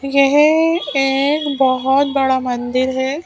यह एक बहुत बड़ा मंदिर है।